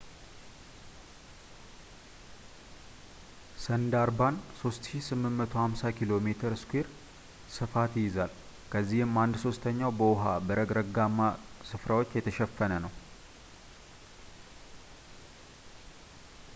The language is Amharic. ሰንዳርባን 3,850 ኪ.ሜ² ፣ ስፋት ይይዛል፣ ከዚህም አንድ-ሦስተኛው በውሃ/በረግረግማ ስፍራዎች የተሸፈነ ነው